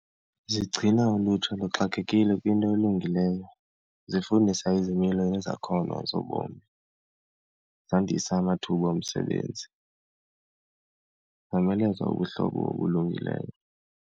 Zigcina ulutsha luxakekile kwinto elungileyo, zifundisa izimilo nezakhono zobomi, zandisa amathuba omsebenzi, zomeleza ubuhlobo obulungileyo.